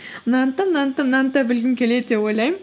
мынаны да мынаны да мынаны да білгім келеді деп ойлаймын